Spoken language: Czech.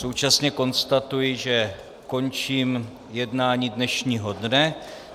Současně konstatuji, že končím jednání dnešního dne.